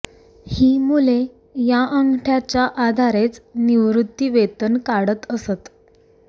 ही मुले या अंगठ्याच्या आधारेच निवृत्तीवेतन काढत असत